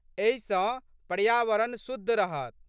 एहि सँ पर्यावरण शुद्ध रहत।